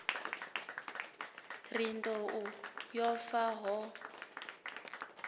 ri nḓou yo fa ho